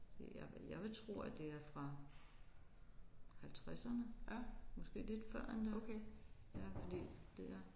Det jeg vil jeg vil tro at det er fra halvtredserne måske lidt før endda ja fordi det er